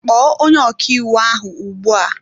Kpọọ onye ọkàiwu ahụ ugbu a!